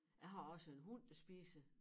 Jeg har også en hund der spiser